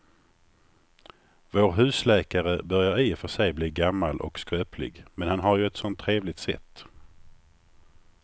Vår husläkare börjar i och för sig bli gammal och skröplig, men han har ju ett sådant trevligt sätt!